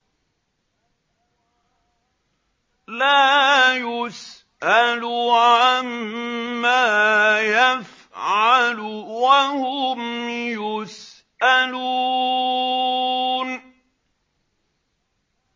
لَا يُسْأَلُ عَمَّا يَفْعَلُ وَهُمْ يُسْأَلُونَ